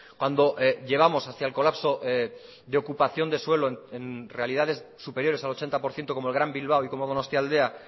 cuando llevamos hacia el colapso de ocupación de suelo en realidades superiores al ochenta por ciento como el gran bilbao y como donostialdea